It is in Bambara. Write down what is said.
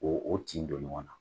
Ko o tin don ɲɔgɔn na.